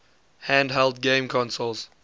handheld game consoles